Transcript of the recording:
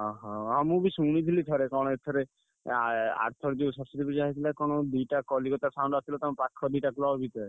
ଅହ! ହଁ ମୁଁ ବି ଶୁଣିଥିଲି ଥରେ କଣ ଏଥେରେ ଆ ଆରଥର ଯୋଉ ସରସ୍ୱତୀ ପୂଜା ହେଇଥିଲା କଣ ଦିଟା କଲିକତା sound ଆସିଥିଲା। ତମ ପାଖ ଦିଟା club ଭିତରେ।